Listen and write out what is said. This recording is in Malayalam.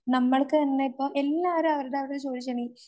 നമ്മൾക്ക് തന്നെയിപ്പം എല്ലാവരും അവരവരുടെ ചോദിച്ചേനീ